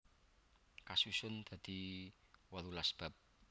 Kasusun dadi wolulas bab